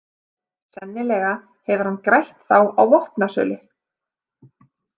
Sennilega hefur hann grætt þá á vopnasölu.